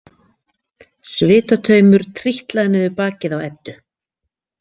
Svitataumur trítlaði niður bakið á Eddu.